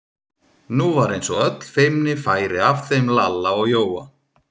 Nú var eins og öll feimni færi af þeim Lalla og Jóa.